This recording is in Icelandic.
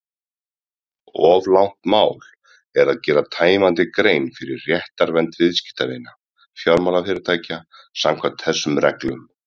Of langt mál er að gera tæmandi grein fyrir réttarvernd viðskiptavina fjármálafyrirtækja samkvæmt þessum reglum.